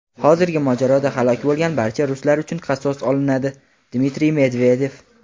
hozirgi mojaroda halok bo‘lgan barcha ruslar uchun qasos olinadi – Dmitriy Medvedev.